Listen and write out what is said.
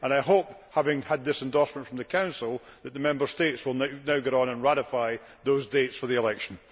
I hope, having had this endorsement from the Council, that the Member States will now get on and ratify those dates for the election.